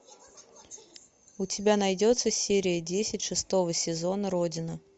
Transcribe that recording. у тебя найдется серия десять шестого сезона родина